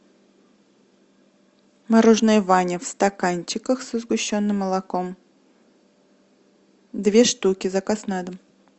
мороженое ваня в стаканчиках со сгущенным молоком две штуки заказ на дом